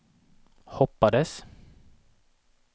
hoppades